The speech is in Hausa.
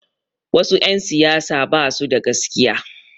Wasu 'yan siyasa ba su da gaskiya.